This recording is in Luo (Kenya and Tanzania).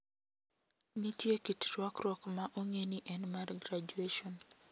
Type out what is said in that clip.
Nitie kit rwakruok ma ong`e ni en mar graduation.